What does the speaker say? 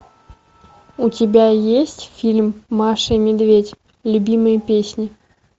у тебя есть фильм маша и медведь любимые песни